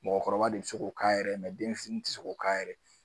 Mɔgɔkɔrɔba de be se k'o k'a yɛrɛ ye den fitini te se k'o k'a yɛrɛ ye